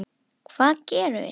Hvað gerðum við?